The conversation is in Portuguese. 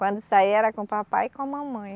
Quando saía era com o papai e com a mamãe.